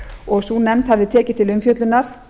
og sú nefnd hafði tekið til umfjöllunar